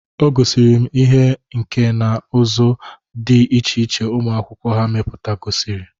O gosiri m ihe nka na ụzụ dị iche iche ụmụakwụkwọ ha meputagasịrị